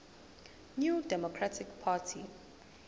new democratic party